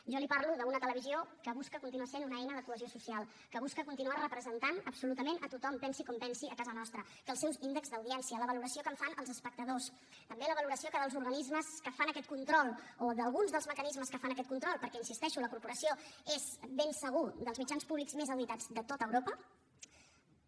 jo li parlo d’una televisió que busca continuar sent una eina de cohesió social que busca continuar representant absolutament a tothom pensi com pensi a casa nostra que els seus índexs d’audiència la valoració que en fan els espectadors també la valoració dels organismes que fan aquest control o d’alguns dels mecanismes que fan aquest control perquè hi insisteixo la corporació és ben segur dels mitjans públics més auditats de tot europa